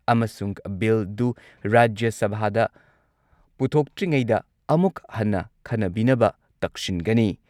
ꯑꯃꯁꯨꯡ ꯕꯤꯜꯗꯨ ꯔꯥꯖ꯭ꯌ ꯁꯚꯥꯗ ꯄꯨꯊꯣꯛꯇ꯭ꯔꯤꯉꯩꯗ ꯑꯃꯨꯛ ꯍꯟꯅ ꯈꯟꯅꯕꯤꯅꯕ ꯇꯛꯁꯤꯟꯒꯅꯤ꯫